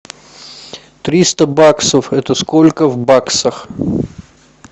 триста баксов это сколько в баксах